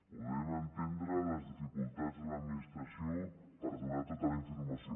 podem entendre les dificultats de l’administració per donar tota la informació